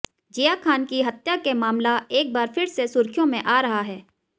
जिया खान की हत्या के मामला एक बार फिर से सुर्खियों में आ रहा है